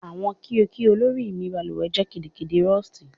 Awọn kio kio lori mi baluwe jẹ gidigidi Rusty